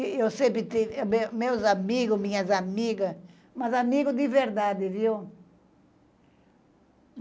Eu sempre tive meus amigos, minhas amigas, mas amigos de verdade, viu?